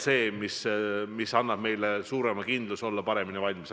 See annab meile suurema kindluse, et oleme paremini valmis.